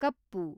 ಕಪ್ಪು